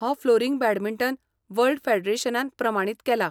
हो flooring badminton world फेडरेशनान प्रमाणीत केला.